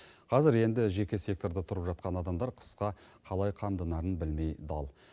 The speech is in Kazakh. қазір енді жеке секторда тұрып жатқан адамдар қысқа қалай қамданарын білмей дал